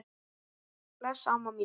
Bless amma mín.